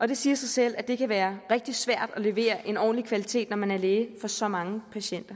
og det siger sig selv at det kan være rigtig svært at levere en ordentlig kvalitet når man er læge for så mange patienter